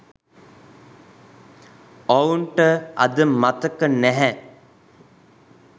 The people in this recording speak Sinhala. ඔවුන්ට අද මතක නැහැ